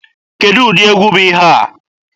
Kedụ ụdị egwu bụ ihe a?